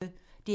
DR P1